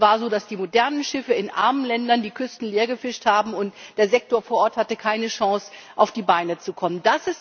Es war so, dass die modernen Schiffe in armen Ländern die Küsten leergefischt haben, und der Sektor vor Ort hatte keine Chance, auf die Beine zu kommen.